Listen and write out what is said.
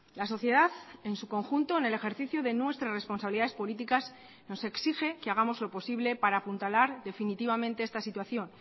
la sociedad en su conjunto en el ejercicio de nuestras responsabilidades políticas nos exige que hagamos lo posible para apuntalar definitivamente esta situación